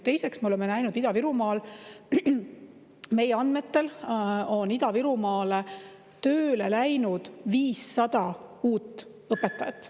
Teiseks, me oleme näinud, et meie andmetel on Ida-Virumaale tööle läinud 500 uut õpetajat.